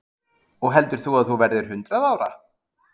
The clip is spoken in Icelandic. Magnús Hlynur: Og heldur þú að þú verðir hundrað ára?